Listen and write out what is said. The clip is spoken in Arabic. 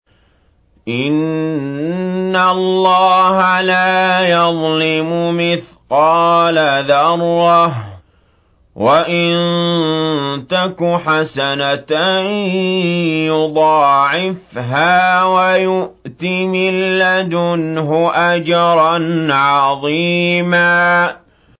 إِنَّ اللَّهَ لَا يَظْلِمُ مِثْقَالَ ذَرَّةٍ ۖ وَإِن تَكُ حَسَنَةً يُضَاعِفْهَا وَيُؤْتِ مِن لَّدُنْهُ أَجْرًا عَظِيمًا